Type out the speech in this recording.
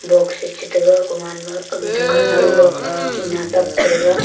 box chata ga gaman ma aga dukan a lan tina tap pa thega.